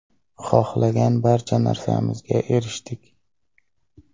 Xohlagan barcha narsamizga erishdik.